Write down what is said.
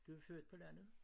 Du er født på landet?